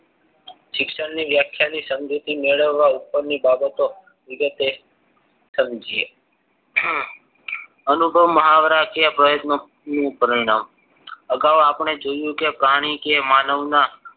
શિક્ષણ ની વ્યાખ્યા ને સમજૂતી મેળવવા ઉપરની બાબતો વિગતે સમજીએ આ અનુભવ મહાવરાથી આ પ્રયત્નો નું પરિણામ અગાઉ આપણે જોયું કે પ્રાણી કે માનવના